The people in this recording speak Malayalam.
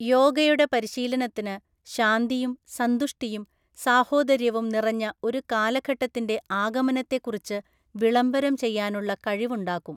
യോഗയുടെ പരിശീലനത്തിന് ശാന്തിയും സന്തുഷ്ടിയും സാഹോദര്യവും നിറഞ്ഞ ഒരു കാഘഘട്ടത്തിന്റെ ആഗമനത്തെക്കുറിച്ച് വിളംബരം ചെയ്യാനുള്ള കഴിവുണ്ടാക്കും.